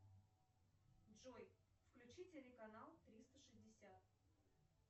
джой включи телеканал триста шестьдесят